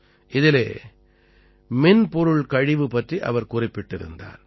இதிலே மின்பொருள்கழிவு பற்றி அவர் குறிப்பிட்டிருந்தார்